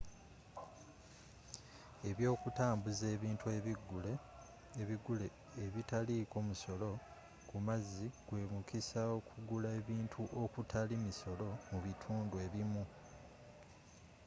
ebyokutambuza ebintu ebigule ebitaliiko musolo kumazzi gwe mukisa okugula ebintu okutali misolo mu bitundu ebimu